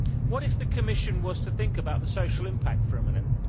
What if the Commission was to think about the social impact for a minute?